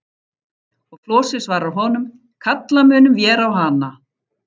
Og Flosi svarar honum: Kalla munum vér á hana.